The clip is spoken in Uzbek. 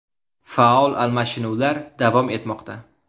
Faol almashinuvlar davom etmoqda.